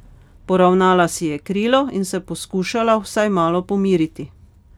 Poravnala si je krilo in se poskušala vsaj malo pomiriti.